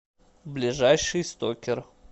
ближайший стокер